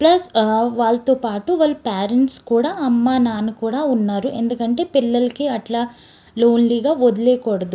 Plus ఆ వాళ్ళతోపాటు వాళ్ళ పేరెంట్స్ కూడా అమ్మ నాన్న కూడా ఉన్నారు ఎందుకంటే పిల్లల్కి అట్ల లోన్లీగా వొదిలేయకూడదు.